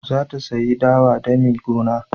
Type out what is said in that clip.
Za ta sayi dawa dami goma.